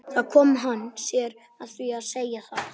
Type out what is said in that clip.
Þar kom hann sér að því að segja það.